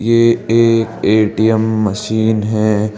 ये एक ATM machine है।